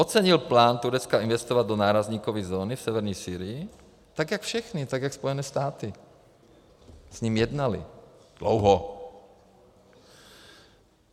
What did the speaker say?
Ocenil plán Turecka investovat do nárazníkové zóny v severní Sýrii, tak jak všichni, tak jak Spojené státy s ním jednaly dlouho.